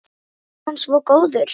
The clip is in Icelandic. Er hann svo góður?